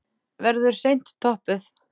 Verður seint toppuð